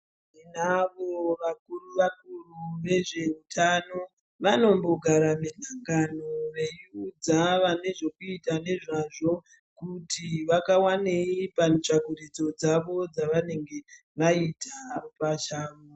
Tinavo vakuru vakuru vezveutano vanombogara misangano veiudza vanezvekuita nezvazvo kuti vakawanei pamitsvakurudzo dzavo dzavanenge vaita pachavo.